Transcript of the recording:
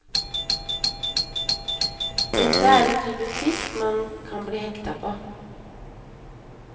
Dette er en type fisk man kan bli hekta på.